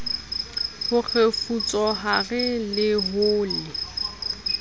ho kgefutsohare le ho le